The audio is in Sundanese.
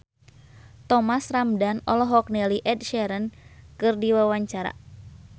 Thomas Ramdhan olohok ningali Ed Sheeran keur diwawancara